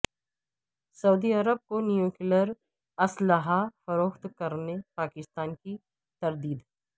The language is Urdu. سعودی عرب کو نیوکلیر اسلحہ فروخت کرنے پاکستان کی تردید